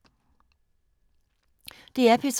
DR P3